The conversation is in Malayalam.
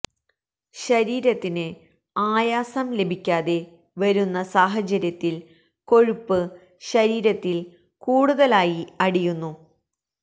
ശരീരത്തിന് ആയാസം ലഭിക്കാതെ വരുന്ന സാഹചര്യത്തില് കൊഴുപ്പ് ശരീരത്തില് കൂടുതലായി അടിയുന്നു